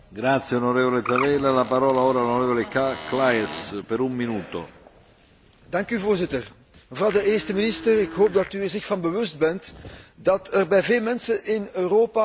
Voorzitter, mevrouw de eerste minister, ik hoop dat u zich ervan bewust bent dat er bij veel mensen in Europa hoge verwachtingen van het EU voorzitterschap van Denemarken leven.